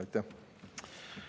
Aitäh!